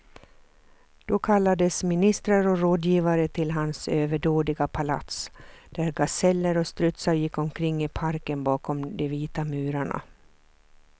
Då kallades ministrar och rådgivare till hans överdådiga palats, där gaseller och strutsar gick omkring i parken bakom de vita murarna.